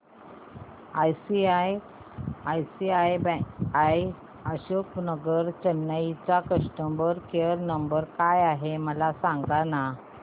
ICICI Ashok Nagar Chennai चा customer care number काय आहे मला सांगाना